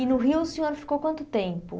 E no Rio o senhor ficou quanto tempo?